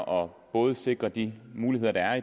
om både at sikre de muligheder der